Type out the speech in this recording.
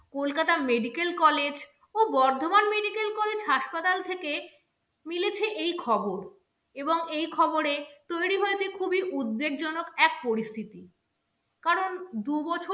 Kolkata medical college ও Bardhaman medical college হাসপাতাল থেকে মিলেছে এই খবর এবং এই খবরে তৈরি হয়েছে খুবই উদ্বেগজনক এক পরিস্থিতি কারণ দু বছর